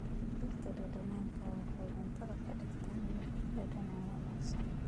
Dhirtu dhadhanka waxay cuntada ka dhigtaa mid dhadhan wanaagsan.